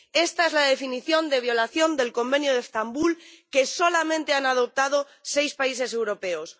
Esta es la definición de violación del Convenio de Estambul, que solamente han adoptado seis países europeos.